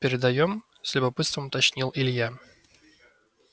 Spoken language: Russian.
передаём с любопытством уточнил илья